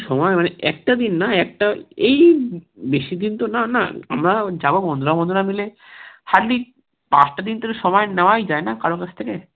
একটা দিন না একটা এই বেশি দিনতো না না আমরা যাবো বন্ধুরা বন্ধুরা মিলে hardly পাঁচটা দিন থেকে সময় নাওয়াই যায় না কারোর কাছ থেকে